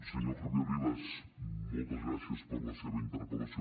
senyor javier rivas moltes gràcies per la seva interpellació